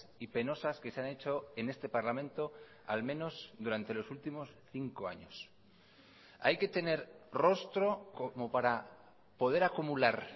y penosas que se han hecho en este parlamento al menos durante los últimos cinco años hay que tener rostro como para poder acumular